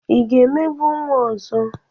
Ị ga-emegbu nwa ọzọ?